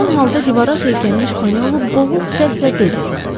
Yorğun halda divara söykənmiş Panelo boğuq səslə dedi: